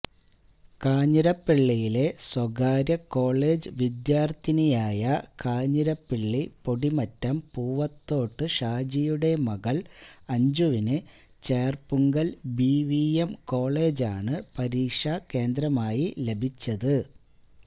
കാഞ്ഞിരപള്ളിയിലെ സ്വകാര്യകോളജ് വിദ്യാര്ഥിനിയായ കാഞ്ഞിരപ്പള്ളി പൊടിമറ്റം പൂവത്തോട്ട് ഷാജിയുടെ മകള് അഞ്ജുവിന് ചേര്പ്പുങ്കല് ബിവിഎം കോളജാണ് പരീക്ഷാകേന്ദ്രമായി ലഭിച്ചത്